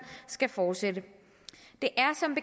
skal fortsætte det er som